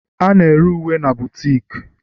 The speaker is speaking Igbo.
A na-ere uwe na bootiki